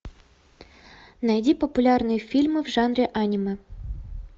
найди популярные фильмы в жанре анимэ